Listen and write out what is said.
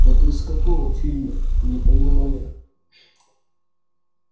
это из какого фильма не поняла я